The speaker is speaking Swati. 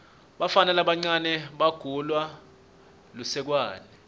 bafana labancane bagawula lusekwane